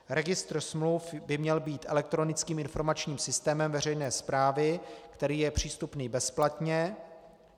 Registr smluv by měl být elektronickým informačním systémem veřejné správy, který je přístupný bezplatně.